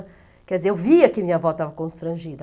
Quer dizer, eu via que minha avó estava constrangida.